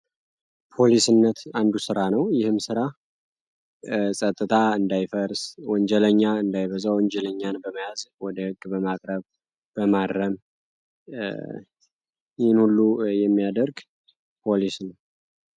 ፖሊስነት አንዱ ስራ ነው። ይህም ስራ ፀጥታ እንዳይፈርስ ፣ወንጀለኛ እንዳይበዛ ፣ወንጀለኛን በመያዝ ወደ ህግ በማቅረብ ፣በማረም ይህን ሁሉ የሚያደርግ ፖሊስ ነው።